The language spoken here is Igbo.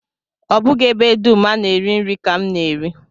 Ọ bụghị ebe dum a na-eri nri ka m na-eri